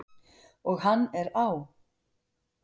Og hann er á!